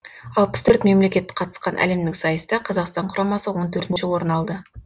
алпыс төрт мемлекет қатысқан әлемдік сайыста қазақстан құрамасы он төртінші орын алды